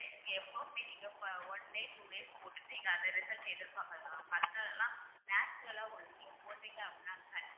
நீங்க எப்போவுமே நீங்க one day, two days போட்டுட்டு நீங்க அதை result மத்ததுலாம் natural ஆ ஒரு நீங்க போட்டீங்க அப்படின்னா